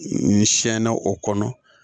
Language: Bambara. N sɛnɛna o kɔnɔ